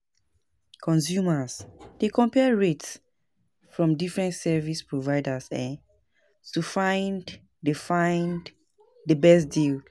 Consumers dey compare rates from different service providers um to find the find the best deal.